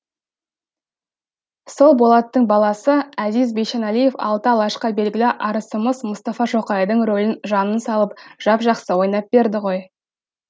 сол болаттың баласы әзиз бейшеналиев алты алашқа белгілі арысымыз мұстафа шоқайдың ролін жанын салып жап жақсы ойнап берді ғой